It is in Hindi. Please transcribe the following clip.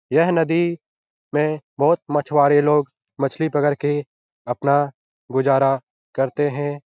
यह नदी में बहुत मछुवारे लोग मछली पकड़ के अपना गुजरा करते हैं ।